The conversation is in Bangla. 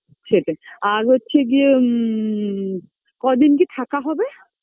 দিদি ঝামেলা করারও দরকার নেই যে যেরকম ভাবে ইচ্ছে সে রকম ভাবেই